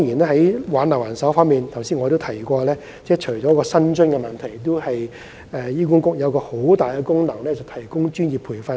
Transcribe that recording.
在挽留人手方面，我剛才提到，除了薪酬問題外，醫管局還有一個十分強大的功能，就是提供專業培訓。